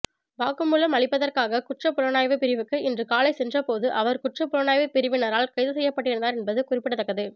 வாக்குமூலம் அளிப்பதற்காக குற்றப்புலனாய்வு பிரிவிக்கு இன்று காலை சென்றபோது அவர் குற்றப்புலனாய்வு பிரிவினரால் கைது செய்யப்பட்டிருந்தார் என்பது குறிப்பிடத்தக்கது